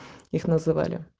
их называли